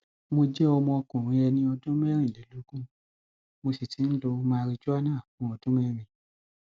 mo jẹ ọmọkùnrin ẹni ọdún mẹrìnlélógún mo sì ti ń lo marijúánà fún ọdún mẹrin